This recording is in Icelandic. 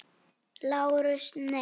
LÁRUS: Nei.